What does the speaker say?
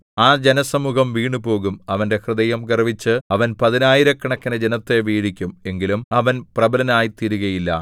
ആ ജനസമൂഹം വീണുപോകും അവന്റെ ഹൃദയം ഗർവ്വിച്ച് അവൻ പതിനായിരക്കണക്കിന് ജനത്തെ വീഴിക്കും എങ്കിലും അവൻ പ്രബലനായിത്തീരുകയില്ല